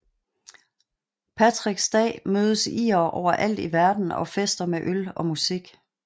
Patricks dag mødes irere overalt i verden og fester med øl og musik